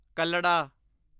ਕੱਲੜਾ